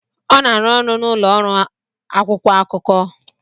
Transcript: Ọ na-arụ ọrụ na ụlọ ọrụ akwụkwọ akụkọ.